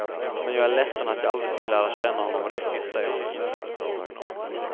Men jag är ledsen att jag aldrig fick lära känna honom riktigt, säger hon.